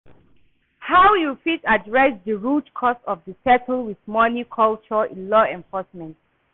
How you fit adress di root cause of di settle with money culture in law enforcement?